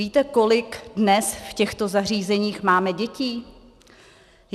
Víte, kolik dnes v těchto zařízeních máme dětí?